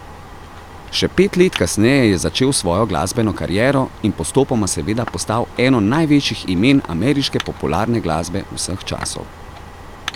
Še pet let kasneje je začel svojo glasbeno kariero in postopoma seveda postal eno največjih imen ameriške popularne glasbe vseh časov.